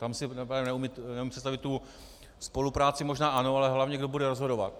Tam si neumím představit - tu spolupráci možná ano, ale hlavně kdo bude rozhodovat.